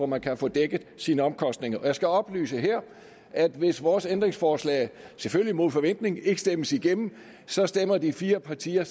man kan få dækket sine omkostninger af jeg skal her oplyse at hvis vores ændringsforslag selvfølgelig mod forventning ikke stemmes igennem så stemmer de fire partier